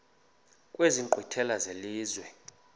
kwezi nkqwithela zelizwe